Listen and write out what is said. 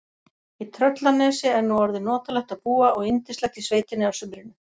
Í Tröllanesi er nú orðið notalegt að búa og yndislegt í sveitinni að sumrinu.